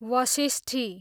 Vashishti